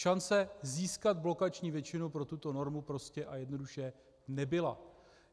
Šance získat blokační většinu pro tuto normu prostě a jednoduše nebyla.